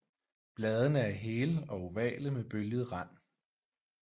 Bladene er hele og ovale med bølget rand